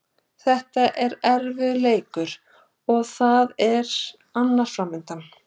Þetta var erfiður leikur og það er annar framundan.